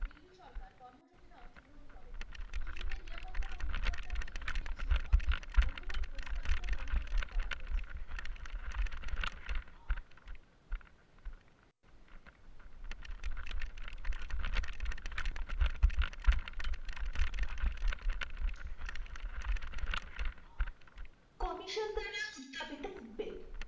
commission দ্বারা উজ্জাবিত উদ্বেগ